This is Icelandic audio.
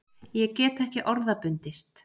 Ég get ekki orða bundist.